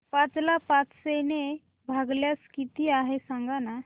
पाच ला पाचशे ने भागल्यास किती आहे सांगना